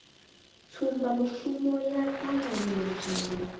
tsumbamushumo ya u ṱavhanyezwa na